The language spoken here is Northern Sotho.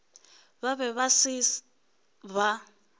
ba bego ba se ba